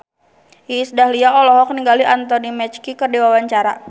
Iis Dahlia olohok ningali Anthony Mackie keur diwawancara